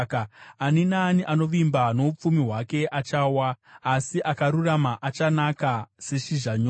Ani naani anovimba noupfumi hwake achawa, asi akarurama achanaka seshizha nyoro.